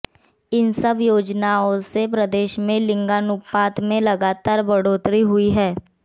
इन सब योजनाओं से प्रदेश में लिंगानुपात में लगातार बढ़ोतरी हुई है